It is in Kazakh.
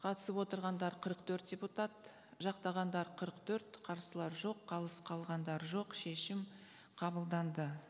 қатысып отырғандар қырық төрт депутат жақтағандар қырық төрт қарсылар жоқ қалыс қалғандар жоқ шешім қабылданды